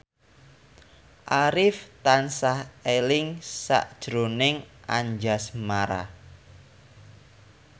Arif tansah eling sakjroning Anjasmara